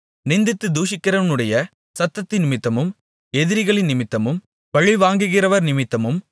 நிந்தித்துத் தூஷிக்கிறவனுடைய சத்தத்தினிமித்தமும் எதிரிகளினிமித்தமும் பழிவாங்குகிறவர்னிமித்தமும்